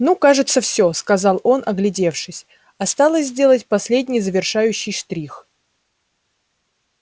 ну кажется все сказал он оглядевшись осталось сделать последний завершающий штрих